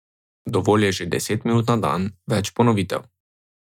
Dovolj je že deset minut na dan, več ponovitev.